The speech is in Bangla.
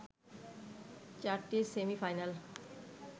চারটি সেমি-ফাইনাল